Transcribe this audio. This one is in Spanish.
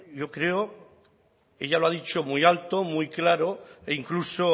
yo creo ella lo ha dicho muy alto muy claro e incluso